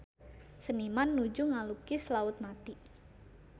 Seniman nuju ngalukis Laut Mati